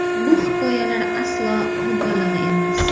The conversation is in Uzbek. Bu hikoyalar aslo mubolag‘a emas.